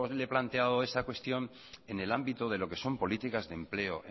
le planteado esa cuestión en el ámbito de lo que son políticas de empleo